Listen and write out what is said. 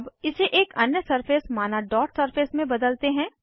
अब इसे एक अन्य सरफेस माना डॉट सरफेस में बदलते हैं